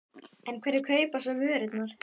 En hverjir kaupa svo vörurnar?